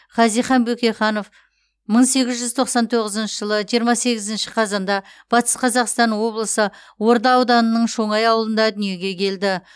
хазихан бөкейханов мың сегіз жүз тоқсан тоғызыншы жылы жиырма сегізінші қазанда батыс қазақстан облысы орда ауданының шоңай ауылында дүниеге келді